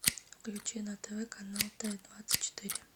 включи на тв канал т двадцать четыре